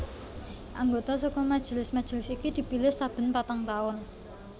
Anggota saka majelis majelis iki dipilih saben patang taun